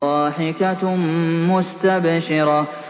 ضَاحِكَةٌ مُّسْتَبْشِرَةٌ